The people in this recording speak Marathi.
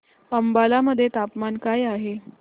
अंबाला मध्ये तापमान काय आहे